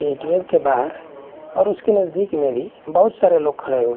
ATM के बाहर और उसके नजदीक में भी बहुत सारे लोग खड़े हुए--